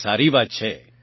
આ સારી વાત છે